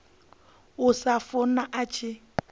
sa khou funa a tshi